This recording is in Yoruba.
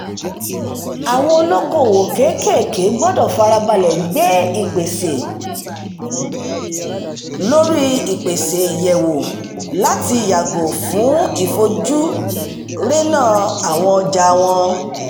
àwọn olókoòwò kéékèèké gbọdọ̀ farabalẹ̀ gbé ìpèsè lórí-ìpèsè yẹ̀wò láti yàgò fún ìfojúrénà àwọn ọjà wọn